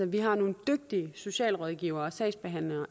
vi har nogle dygtige socialrådgivere og sagsbehandlere